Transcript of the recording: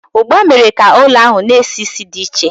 ugba was the food spice that filled the house with a strange smell